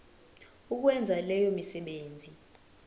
ukwenza leyo misebenzi